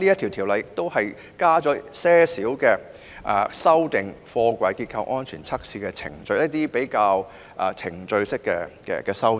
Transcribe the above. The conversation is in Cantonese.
《條例草案》亦建議修訂貨櫃結構安全測試的程序，這屬於程序方面的修訂。